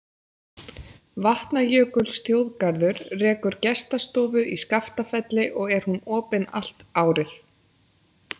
Vatnajökulsþjóðgarður rekur gestastofu í Skaftafelli og er hún opin allt árið.